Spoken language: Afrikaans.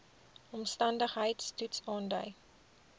omstandigheids toets aandui